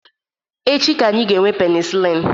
Echi ka anyị ga-ga-enwe penisilin